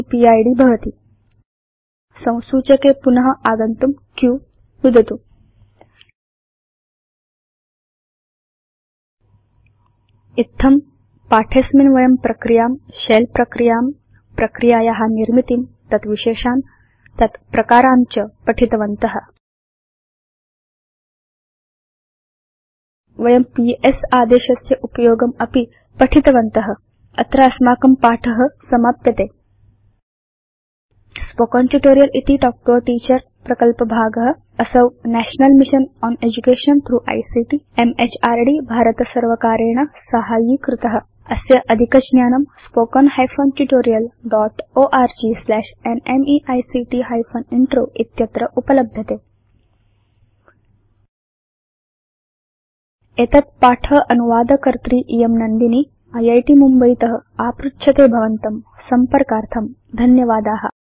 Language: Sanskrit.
इति पिद् भवति संसूचके पुन आगन्तुं q नुदतु इत्थम् अस्मिन् पाठे वयं प्रक्रियां शेल प्रक्रियां प्रक्रियाया निर्मितिं तत् विशेषान् तत् प्रकारान् च पठितवन्त वयं पीएस आदेशस्य उपयोगम् अपि पठितवन्त अत्र अस्माकं पाठ समाप्यते स्पोकेन ट्यूटोरियल् इति तल्क् तो a टीचर प्रकल्पभागअसौ national mission on education through ICT MHRD भारतसर्वकारेण साहाय्यीकृत अस्य अधिकज्ञानम् httpspoken tutorialorgNMEICT Intro spoken hyphen tutorial dotओर्ग स्लैश न्मेइक्ट हाइफेन इन्त्रो इत्यत्र उपलभ्यते एतत् पाठ अनुवादकर्त्री इयं घाग नन्दिनी इत् मुम्बयीत आपृच्छते भवतसंपर्कार्थं धन्यवादा